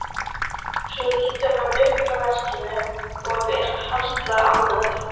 Svo lítur hann upp frá verkinu og er harla ánægður.